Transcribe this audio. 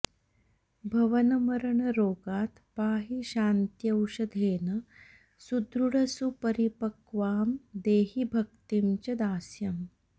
भवनमरणरोगात् पाहि शान्त्यौषधेन सुदृढसुपरिपक्वाम् देहि भक्तिं च दास्यम्